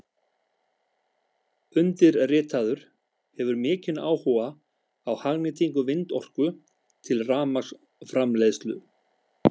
Undirritaður hefur mikinn áhuga á hagnýtingu vindorku til rafmagnsframleiðslu.